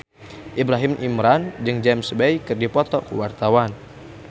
Ibrahim Imran jeung James Bay keur dipoto ku wartawan